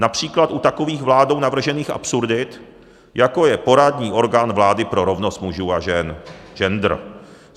Například u takových vládou navržených absurdit, jako je poradní orgán vlády pro rovnost mužů a žen, gender.